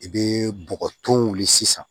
I bɛ bɔgɔ ton wuli sisan